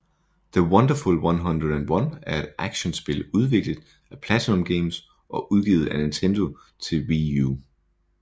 The Wonderful 101 er et actionspil udviklet af PlatinumGames og udgivet af Nintendo til Wii U